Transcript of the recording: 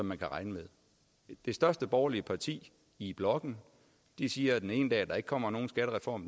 man kan regne med det største borgerlige parti i blokken siger den ene dag at der ikke kommer nogen skattereform